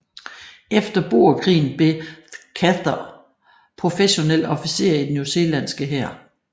Efter boerkrigen blev Chaytor professionel officer i den newzealandske hær